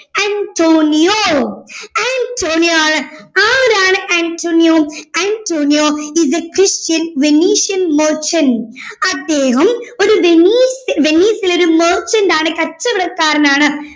Antonio Antonio ആണ് ആരാണ് Antonio Antonio is a christian venician merchant അദ്ദേഹം ഒരു വെനീസ് വെനീസിലെ ഒരു merchant ആണ് ഒരു കച്ചവടക്കാരനാണ്